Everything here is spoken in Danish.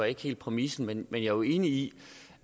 ikke helt præmissen men jeg er jo enig i